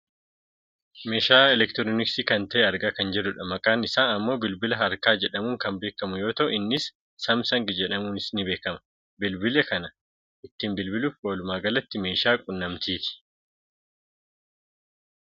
Meeshaa elektirooniksi kan ta'e argaa kan jirrudha. Maqaan isaa ammoo bilbila harkaa jedhamuun kan beekamu yoo ta'u innis "Samsung" jedhamuunis ni beekama. Bilbila kana ittiin bilbiluuf walumaa galatti meeshaa quunnamtiiti.